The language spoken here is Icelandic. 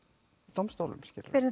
dómstólum